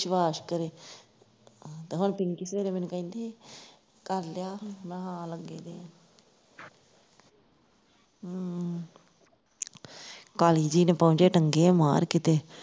ਵਿਸ਼ਵਾਸ਼ ਕਰੋ ਤੇ ਪਿੰਕੀ ਹੁਣ ਸਵੇਰੇ ਮੈਨੂੰ ਕਹਿੰਦੀ ਕਰ ਲਿਆ ਮੈਂ ਕਿਹਾ ਹਾਂ ਲੱਗੇ ਦੇ ਹਾਂ ਹੂ ਕਾਲੀ ਜਿਹੀ ਨੇ ਪਹੁੰਚੇ ਠੱਗੇ ਆ ਮਾਰਕੀਤੇ